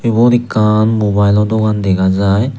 ubot ekan mobilo dugan degajai.